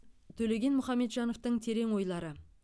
төлеген мұхамеджановтың терең ойлары